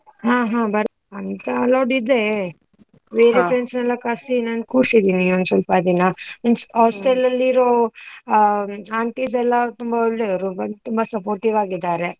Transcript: ಹ ಹ ಬರ್ ಬೇರೆ friends ನೆಲ್ಲ ಕರ್ಸಿ ನಾನ್ ಕುರ್ಸಿದ್ದೀನಿ ಒಂದ್ ಸ್ವಲ್ಪ ದಿನ, means hostel ಅಲ್ಲಿರೋ ಆ aunties ಎಲ್ಲ ತುಂಬಾ ಒಳ್ಳೆರೂ, ತುಂಬಾ supportive ಆಗಿದ್ದಾರೆ.